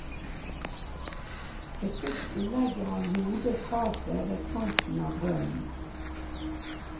Forsiktig legger han hodet fra seg ved kanten av brønnen.